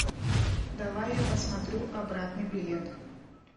давай я посмотрю обратный билет